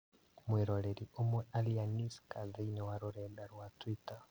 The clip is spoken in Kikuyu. Mwĩroreri ũmwe Alianiska thĩinĩ wa rũrenda rwa Twitter